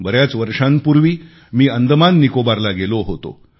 बऱ्याच वर्षांपूर्वी मी अंदमान निकोबारला गेलो होतो